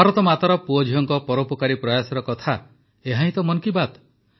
ଭାରତମାତାର ପୁଅଝିଅଙ୍କ ପରୋପକାରୀ ପ୍ରୟାସର କଥା ଏହାହିଁ ତ ମନ୍ କୀ ବାତ୍